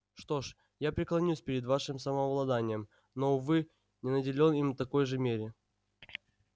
что ж я преклоняюсь перед вашим самообладанием но увы не наделен им такой же мере